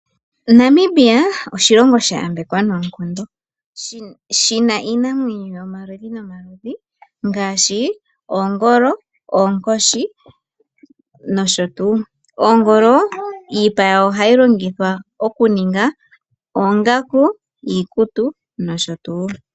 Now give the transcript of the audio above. Namibia oshilongo sha yambekwa noonkondo, shi na iinamwenyo yomaludhi nomaludhi ngaashi oongolo, oonkoshi, nosho tuu. Oongolo, iipa yawo ohayi longithwa okuninga oongaku, iikutu, nosho tuu.